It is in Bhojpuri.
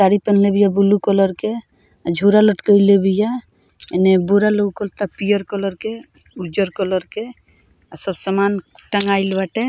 साड़ी पेहेनले बिया ब्लू कलर के झोरा लटकएले बिया एने बोरा लउकता पियर कलर के उज्जर कलर के अ सब समान टँगाइल बाटे।